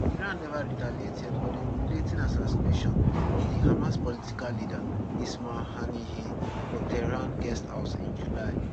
iran neva retaliate yet for di humiliating assassination of di hamas political leader ismail haniyeh for tehran guesthouse in july